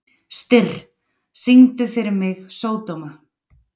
Styrr, syngdu fyrir mig „Sódóma“.